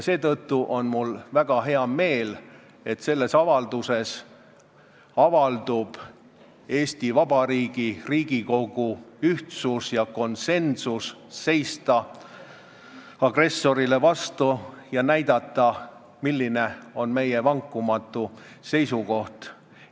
Mul on väga hea meel, et selles avalduses avaldub Eesti Vabariigi Riigikogu ühtsus ja konsensus, et tuleb seista agressorile vastu ja näidata, milline on meie vankumatu seisukoht.